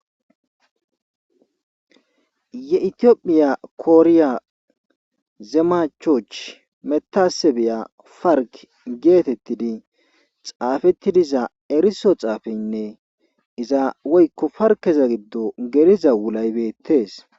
ye itiophphiya kooriya zemachoch metase beya farg geetettidi xaafetti diza eriso xaafeynne iza woykko farkeza giddo geriza wulaybettees